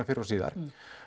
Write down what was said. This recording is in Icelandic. fyrr og síðar